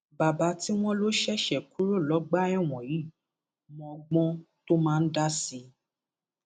baba tí wọn lọ ṣẹṣẹ kúrò lọgbà ẹwọn yìí mọ ọgbọn tó máa ń dá sí i